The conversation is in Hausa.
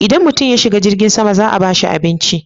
Idan mutum ya shiga jirgin sama za a bashi abinci.